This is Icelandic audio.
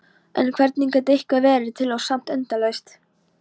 En hvernig gat eitthvað verið til og samt endalaust?